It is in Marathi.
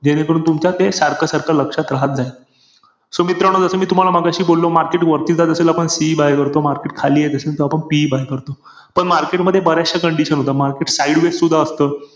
जेणेकरून तुमच्या ते सारखं-सारखं लक्षात राहत जाईल. So मित्रांनो जस मी तुम्हाला मघाशी बोललो market वरती जात असेल आपण CE buy करतो. Market खाली येत असेल तर आपण PE buy करतो. पण market मध्ये बर्याचश्या condition असतात. Market sideways सुद्धा असत.